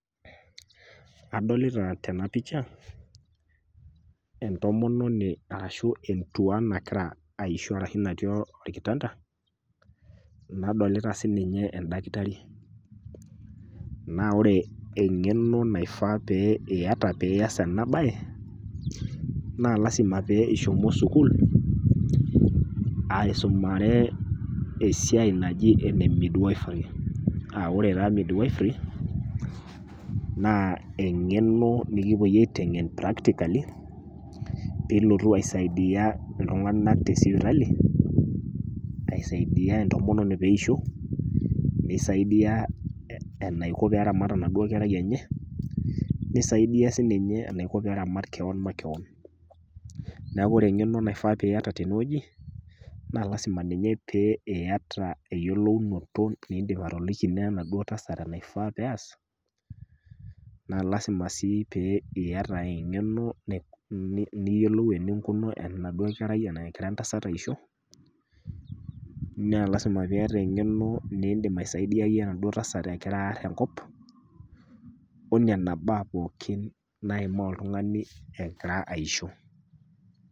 Adolita tena picha entomononi arashu entuaa nagira aisho arashu natii olkitanda, nadolita sininye endakitari. Naa ore eng'eno naifaa pee iata piias ena baye naa lasima pee ishomo sukul aisomari esiai naji ene midwifery [aa] ore taa  midwifery naa eng'eno nikipuoi aiteng'en practically piilotu aisaidia iltung'anak tesipitali, aisaidia entomononi peeisho, neisaidia enaiko peeramat enaduo kera enye, neisaidia sininye enaiko peeramat keon makewon. Neaku ore eng'eno naifaa piiata tenewueji naa  lasima ninye pee iyata eyolounoto piindim atoliki neenaduo tasat enaifaa peeas naa  lasima sii pee iata eng'eno niyiolou eninkunu enaduo kerai egira entasat aisho naa  lasima piiata eng'eno niindim aisaidiaye enaduo tasat egiraarr enkop onena baa pookin naimaa oltung'ani egira aisho.